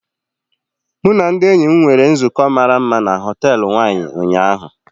Mụ na ndị enyi m nwere nzukọ mara mma na họtel Wine ụnyaahụ.